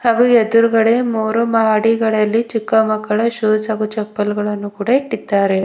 ಹಾಗು ಎದುರ್ಗಡೆ ಮೂರು ಮಾಹಡಿಗಳಲ್ಲಿ ಚಿಕ್ಕ ಮಕ್ಕಳ ಶೋ ಹಾಗೂ ಚಪ್ಪಲ್ ಗಳನ್ನು ಕೂಡ ಇಟ್ಟಿದ್ದಾರೆ.